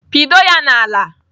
Pịdo ya n'ala!